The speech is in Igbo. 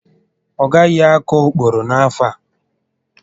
Ọ gaghị akọ ókpòrò n'afọ a